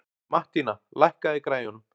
Mattína, lækkaðu í græjunum.